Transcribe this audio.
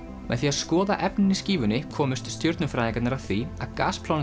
með því að skoða efnin í skífunni komust stjörnufræðingarnir að því að